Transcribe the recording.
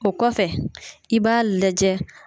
O kɔfɛ i b'a lajɛ.